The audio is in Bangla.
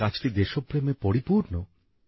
এই কাজটি দেশপ্রেমে পরিপূর্ণ